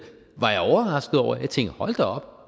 var jeg overrasket over jeg tænkte hold da op